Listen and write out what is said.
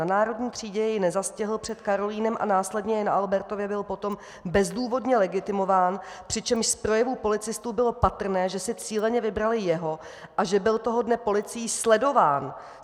Na Národní třídě jej nezastihl, před Karolinem a následně i na Albertově byl potom bezdůvodně legitimován, přičemž z projevů policistů bylo patrné, že si cíleně vybrali jeho a že byl toho dne policií sledován!